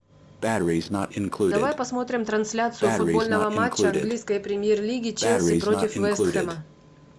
давай посмотрим трансляцию футбольного матча английской премьер лиги челси против вест хэма